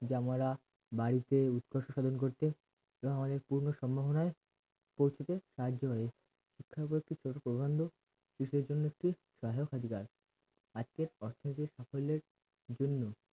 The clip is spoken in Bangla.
যেমন ওরা বাড়িতে উৎকষ্ট সাধন করতে এরা অনেক পূর্ণ সম্ভবনাই পরিস্থিতিকে সাহায্য করে শিক্ষার প্রধান্য বিশ্বের জন্য একটি যাই হোক অধিকার আজকের অর্থনৈতিক সাফল্যের জন্য